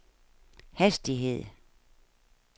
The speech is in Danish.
hastighed